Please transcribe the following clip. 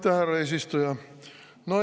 Aitäh, härra eesistuja!